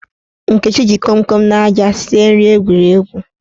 Nkechi ji komkom na aja sie nri egwuregwu.